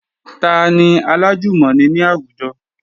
Tani alájùmọ̀ni ní àwùjọ?